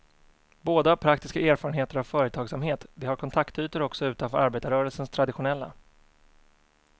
Båda har praktiska erfarenheter av företagsamhet, de har kontaktytor också utanför arbetarrörelsens traditionella.